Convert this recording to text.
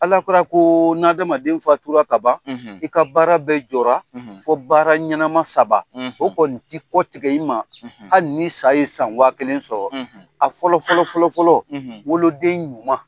Ala kurara ko n' adamaden faturala ka ban i ka baara bɛɛ jɔra fo baara ɲɛnama saba o kɔni tɛ kɔtigɛ i ma hali ni sa ye san wa kelen sɔrɔ a fɔlɔ fɔlɔ fɔlɔ fɔlɔ woloden ɲuman